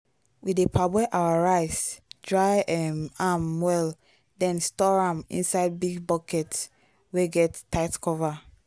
we dey parboil our rice dry um am well then store am inside big bucket wey get tight cover.